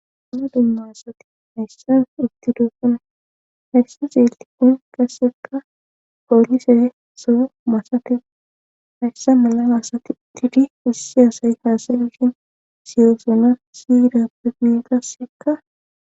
Damna dumma asati hayssan itti duofun hayssa zeelti qun kassekka poolise sou masati hayssa mala maasati didi wusse asayi haasayshin siyosona siyidappe gmiqassekka.